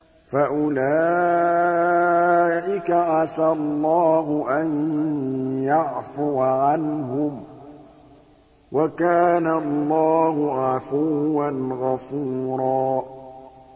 فَأُولَٰئِكَ عَسَى اللَّهُ أَن يَعْفُوَ عَنْهُمْ ۚ وَكَانَ اللَّهُ عَفُوًّا غَفُورًا